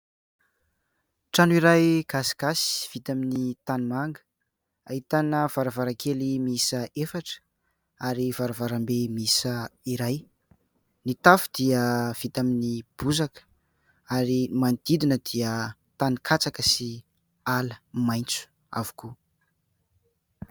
Trano iray gasigasy vita amin'ny tanimanga, ahitana varavarankely miisa efatra ary varavarambe miisa iray. Ny tafo dia vita amin'ny bozaka ary ny manodidina dia tanin-katsaka sy ala maitso avokoa.